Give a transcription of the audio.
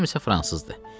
Anam isə fransızdır.